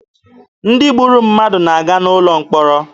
Ndị gburu mmadụ na-aga n'ụlọ mkpọrọ.